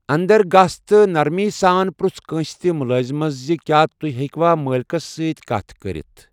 اندر گٔژھ تہٕ نرمی سان پرٚژھ کٲنٛسہِ تہِ مُلٲزِمس زِ کیا تُہۍ ہیٚکوا مٲلِکَس سۭتۍ کتھ کٔرِتھ۔